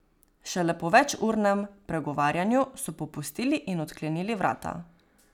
Šele po večurnem pregovarjanju so popustili in odklenili vrata.